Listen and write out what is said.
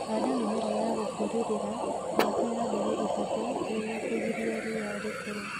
Handa mĩmera ya gũkũrĩrĩra miaka ya mbele ĩtatũ nĩguo kũgilia rĩa rĩkũle